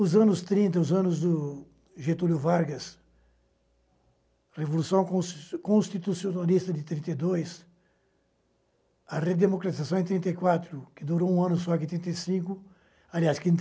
Os anos trinta, os anos do Getúlio Vargas, Revolução Cons Constitucionalista de trinta e dois, a Redemocraciação em trinta e quatro, que durou um ano só que em trinta e cinco, aliás que em